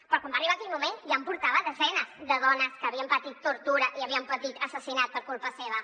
però quan va arribar aquell moment ja en portava desenes de dones que havien patit tortura i havien patit assassinat per culpa seva